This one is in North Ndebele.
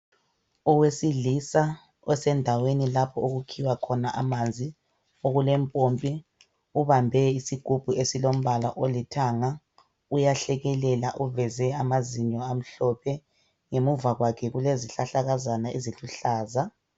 Owesilisa esendaweni lapho okukhiwa khona amanzi. Okulempompi ubambe isigubhu esilombala olithanga. Uyahlekela uveze amazinyo amhlophe. Ngemuva kwake kulezihlahlakazana.